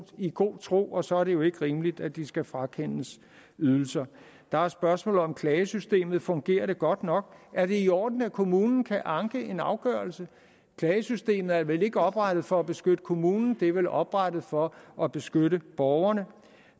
i god tro og så er det jo ikke rimeligt at de skal frakendes ydelser der er spørgsmålet om klagesystemet fungerer det godt nok er det i orden at kommunen kan anke en afgørelse klagesystemet er vel ikke oprettet for at beskytte kommunen det er vel oprettet for at beskytte borgerne